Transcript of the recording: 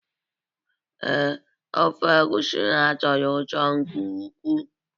Ee, ofe egusi ha tọrọ ụtọ nke ukwu.